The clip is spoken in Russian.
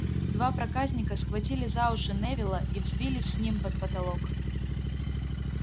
два проказника схватили за уши невилла и взвились с ним под потолок